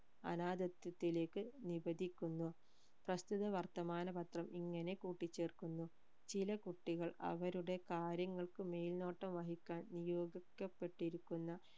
അനാഥത്വത്തിലേക്ക് വിഭജിക്കുന്നു പ്രസ്തുത വർത്തമാന പത്രം ഇങ്ങനെ കൂട്ടിച്ചേർക്കുന്നു ചിലകുട്ടികൾ അവരുടെ കാര്യങ്ങൾക്ക് മേൽനോട്ടം വഹിക്കാൻ നിയോഗിക്കപ്പെട്ടിരിക്കുന്ന